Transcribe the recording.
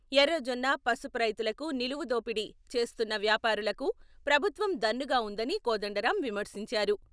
ఎర్రజొన్న, పసుపు రైతులకు నిలువు దోపిడీ చేస్తున్న వ్యాపారులకు ప్రభుత్వం దన్నుగా ఉందని కోదండరాం విమర్శించారు.